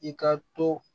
I ka to